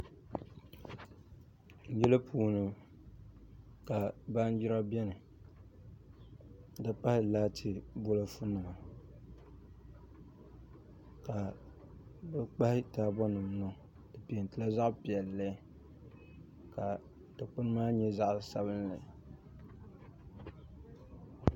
Yili puuni ka baanjira biɛni n ti pahi laati bolfu nima ka di kpahi taabo nima di peentila zaɣ piɛlli ka dikpuni maa nyɛ zaɣ sabinli